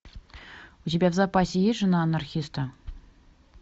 у тебя в запасе есть жена анархиста